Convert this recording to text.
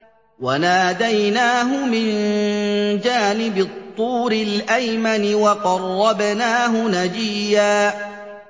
وَنَادَيْنَاهُ مِن جَانِبِ الطُّورِ الْأَيْمَنِ وَقَرَّبْنَاهُ نَجِيًّا